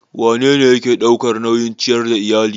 Wanene yake ɗaukan nauyin ciyar da iyali?